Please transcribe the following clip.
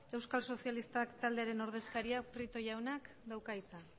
euskal sozialistak taldearen ordezkariak prieto jaunak dauka hitza